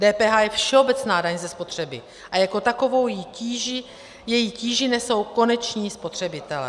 DPH je všeobecná daň ze spotřeby a jako takovou její tíži nesou koneční spotřebitelé.